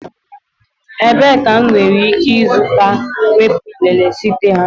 Ebee ka m nwere ike ịzụta teepu nlele site na?